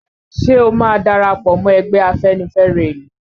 Ṣe o máa darapọ̀ mọ́ ẹgbẹ́ afẹ́nifẹ́re ìlú?